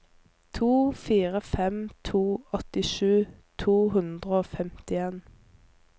to fire fem to åttisju to hundre og femtien